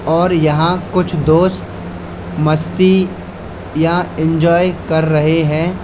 और यहां कुछ दोस्त मस्ती या इंजॉय कर रहे हैं।